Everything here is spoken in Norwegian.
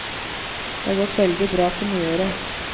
Det har gått veldig bra på nyåret.